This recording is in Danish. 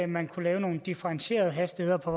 man kunne lave nogle differentierede hastigheder på